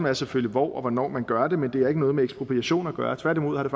er selvfølgelig hvor og hvornår man gør det men det har ikke noget med ekspropriation at gøre tværtimod har det